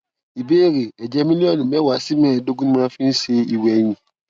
ìbéèrè èjè mílílíònù méwàá sí méèédógún ni mo máa ń fi ń ṣe ìwèyìn